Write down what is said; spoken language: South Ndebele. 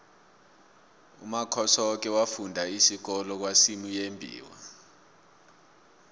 umakhosoke wafunda isikolo kwasimuyembiwa